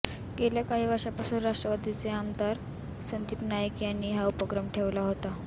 गेल्या काही वर्षांपासून राष्ट्रवादीचे आमदार संदीप नाईक यांनी हा उपक्रम सुरु ठेवला होता